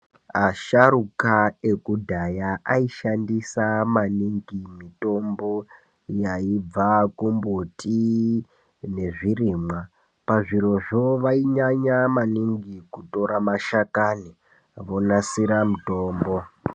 Asharuka ekudhaya aishandisa maningi mitombo yaibva kumbiti nezvirimwa. Pazvirozvo vainyanya maningi kutora mashakani vonasira mitombo.